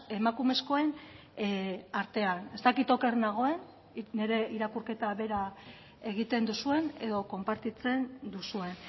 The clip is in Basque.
emakumezkoen artean ez dakit oker nagoen nire irakurketa bera egiten duzuen edo konpartitzen duzuen